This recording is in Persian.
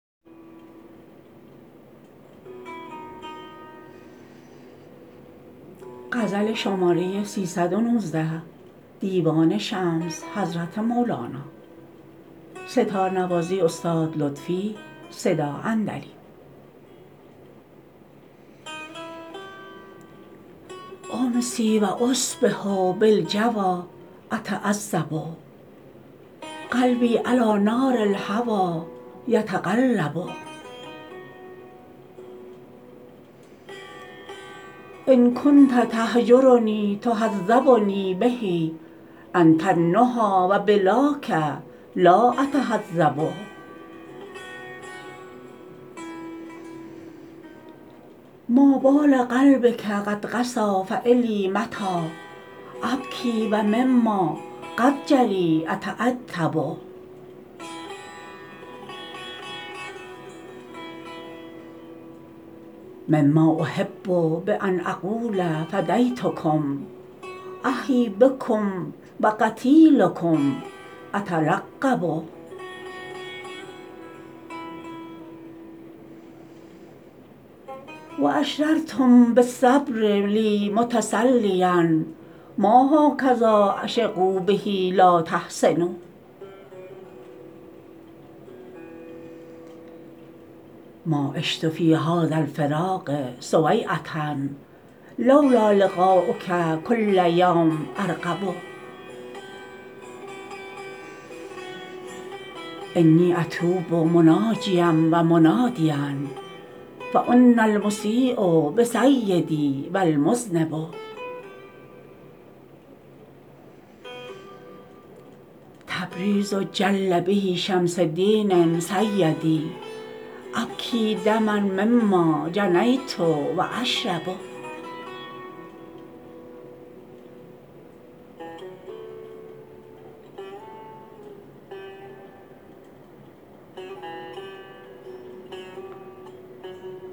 امسی و اصبح بالجوی اتعذب قلبی علی نار الهوی یتقلب ان کنت تهجرنی تهذبنی به انت النهی و بلاک لا اتهذب ما بال قلبک قد قسی فالی متی ابکی و مما قد جری اتعتب مما احب بان اقول فدیتکم احیی بکم و قتیلکم اتلقب و اشرتم بالصبر لی متسلیا ما هکذی عشقوا به لا تحسبوا ما عشت فی هذا الفراق سویعه لو لا لقاؤک کل یوم ارقب انی اتوب مناجیا و منادیا فانا المسی بسیدی و المذنب تبریز جل به شمس دین سیدی ابکی دما مما جنیت و اشرب